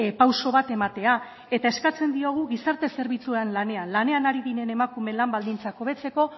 pauso bat ematea eta eskatzen diogu gizarte zerbitzuetan lanean ari diren emakumeen lan baldintzak hobetzeko